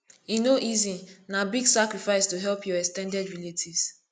e no easy na big sacrifice to help your ex ten ded relatives